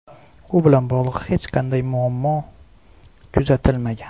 U bilan bog‘liq hech qanday muammo kuzatilmagan.